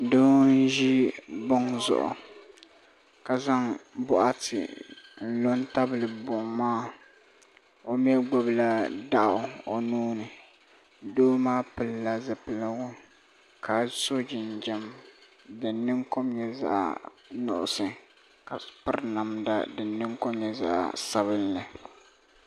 Bihi ʒia n zaŋ bɛ nuhi pa bɛ nyɔɣu zuɣu jɛma ka bɛ ni jɛmdi ŋɔ be bela jɛma maa puuni ni laɣiri bela bela